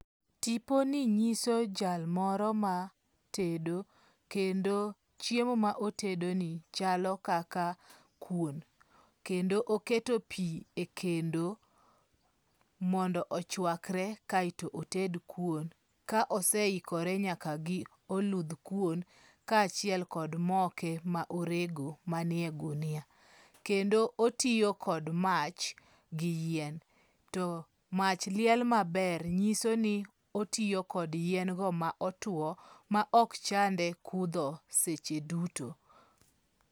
Tiponi nyiso jalmoro matedo, kendo chiemo ma otedoni Chalo kaka kuon, kendo oketo pi e kendo, mondo ochwakre kaeto oted kuon ka oseikore nyaka gi oluth kuon kachiel kod moke ma Oregon manie gunia, kendo otiyo kod mach go yien to mach liel maber nyisoni otiyo kod yiengo ma otwo ma ok chande kutho seche duto